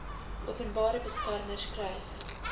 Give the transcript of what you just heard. openbare beskermer skryf